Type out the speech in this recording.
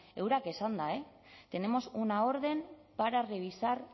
eurek esanda tenemos una orden para revisar